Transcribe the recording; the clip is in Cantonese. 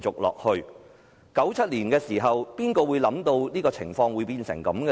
1997年時，誰會想到情況會變成這樣？